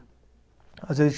Às vezes